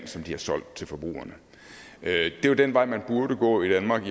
de har solgt til forbrugerne det er jo den vej man burde gå i danmark